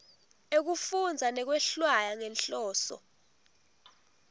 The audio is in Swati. ekufundza nekwehlwaya ngenhloso